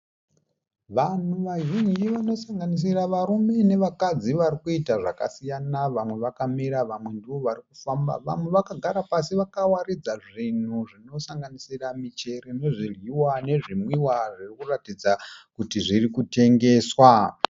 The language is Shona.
Vanhu vazhinji vanosanganisira varume nevakadzi vari kuita zvakasiyana. Vamwe vakamira vamwe ndovarikufamba, vamwe vakagara pasi vakawaridza zvinhu zvinosanganisira michero nezvidyiwa nezvinwiwa zvinoratidza kuti zvirikutengeswa.